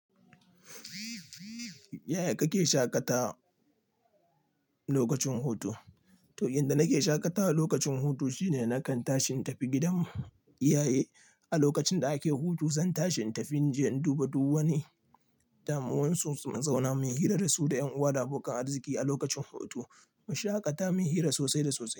Yaya kake shaƙata lokacin hutu? To, yanda nake shaƙatawa lokacin hutu shine nakan tashin tafi gidan iyaye. A lokacin da ake hutu zan tashi in tafi in je in duba duk wani damuwansu su zauna mu yi hira da su da ƴan uwa, da abokan arziki a lokacin hutu. Mu shaƙata, mu yi hira sosai da sosai.